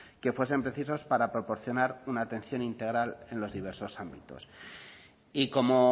que fuesen precisos para proporcionar una atención integral en los diversos ámbitos y como